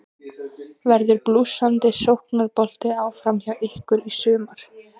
Verður blússandi sóknarbolti áfram hjá ykkur í sumar?